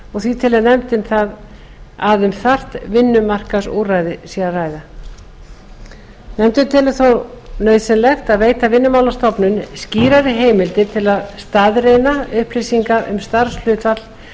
upp og því telur nefndin um þarft vinnumarkaðsúrræði að ræða nefndin telur þó nauðsynlegt að veita vinnumálastofnun skýrari heimildir til að staðreyna upplýsingar um starfshlutfall